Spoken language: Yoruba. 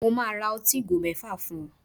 Mo máa ra ọtí ìgò mẹ́fà fún ẹ